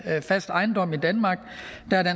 fast ejendom i danmark